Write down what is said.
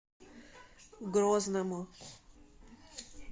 грозному